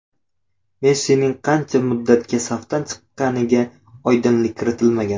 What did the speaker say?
Messining qancha muddatga safdan chiqqaniga oydinlik kiritilmagan.